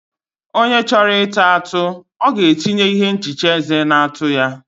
onye chọrọ ịta atụ, ọ ga-etinye ihe nhicha eze na atụ ya.